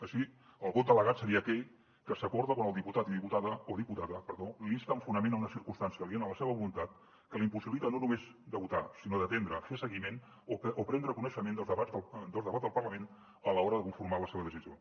així el vot delegat seria aquell que s’acorda quan el diputat o diputada l’insta amb fonament a una circumstància aliena a la seva voluntat que la impossibilitat no només de votar sinó d’atendre fer seguiment o prendre coneixement dels debats del parlament a l’hora de conformar la seva decisió